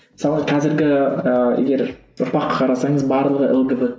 мысалы қазіргі ыыы егер ұрпаққа қарасаңыз барлығы